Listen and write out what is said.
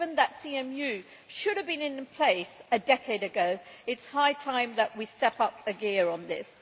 Given that CMU should have been in place a decade ago, it is high time that we step up a gear on this.